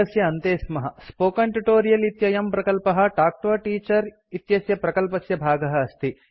spoken tutorial spoken tutorial इत्ययं प्रकल्पः talk to a teacher talk to a teacher इत्यस्य प्रकल्पस्य भागः अस्ति